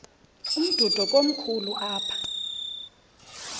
umdudo komkhulu apha